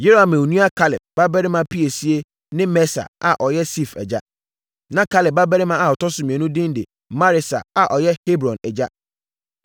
Yerahmeel nua Kaleb babarima piesie ne Mesa a ɔyɛ Sif agya. Na Kaleb babarima a ɔtɔ so mmienu din de Maresa a ɔyɛ Hebron agya.